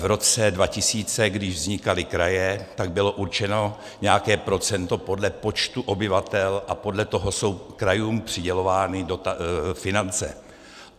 V roce 2000, když vznikaly kraje, tak bylo určeno nějaké procento podle počtu obyvatel a podle toho jsou krajům přidělovány finance.